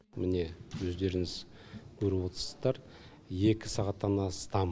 міне өздеріңіз көріп отсыздар екі сағаттан астам